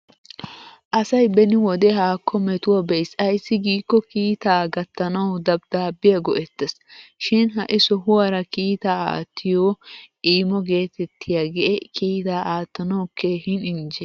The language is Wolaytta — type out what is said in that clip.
Asay beni wode haakko metuwaa be'is ayssi giikko kiitaa gattanawu dabiddaabbiya go'ettes. Shin ha'i sohuwaara kiitaa attiyo imoo gettettiyaagee kiitaa aattanawu keehin injje.